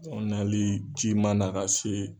An nali ji man na ka se